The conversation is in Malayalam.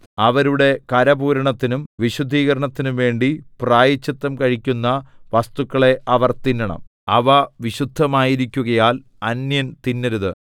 അവരുടെ കരപൂരണത്തിനും വിശുദ്ധീകരണത്തിനും വേണ്ടി പ്രായശ്ചിത്തം കഴിക്കുന്ന വസ്തുക്കളെ അവർ തിന്നണം അവ വിശുദ്ധമായിരിക്കുകയാൽ അന്യൻ തിന്നരുത്